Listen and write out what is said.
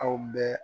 Aw bɛɛ